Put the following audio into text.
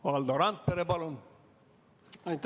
Valdo Randpere, palun!